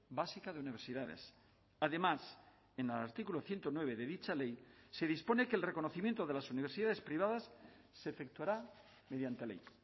básica de universidades además en el artículo ciento nueve de dicha ley se dispone que el reconocimiento de las universidades privadas se efectuará mediante ley